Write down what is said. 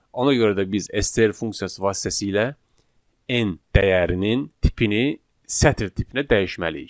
Ona görə də biz STR funksiyası vasitəsilə n dəyərinin tipini sətr tipinə dəyişməliyik.